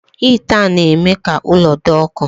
Hịta na-eme ka ụlọ dị ọkụ.